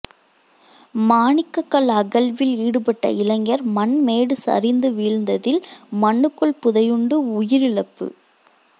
மாணிக்கக்கல் அகழ்வில் ஈடுபட்ட இளைஞர் மண்மேடு சரிந்து வீழ்ந்ததில் மண்ணுக்குள் புதையுண்டு உயிரிழப்பு